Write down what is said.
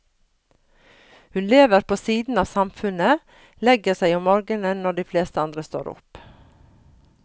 Hun lever på siden av samfunnet, legger seg om morgenen når de fleste andre står opp.